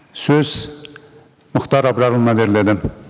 сөз мұхтар абрарұлына беріледі